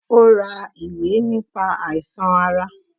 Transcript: Ó ra ìwé nípa àìsàn ara